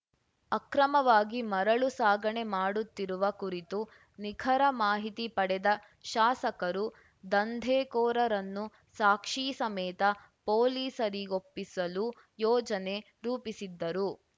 ಅಕ್ರಮವಾಗಿ ಮರಳು ಸಾಗಣೆ ಮಾಡುತ್ತಿರುವ ಕುರಿತು ನಿಖರ ಮಾಹಿತಿ ಪಡೆದ ಶಾಸಕರು ದಂಧೆಕೋರರನ್ನು ಸಾಕ್ಷಿ ಸಮೇತ ಪೊಲೀಸರಿಗೊಪ್ಪಿಸಲು ಯೋಜನೆ ರೂಪಿಸಿದ್ದರು